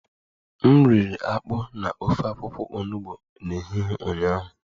M riri akpu na ofe akwụkwọ onugbo n'ehihie ụnyaahụ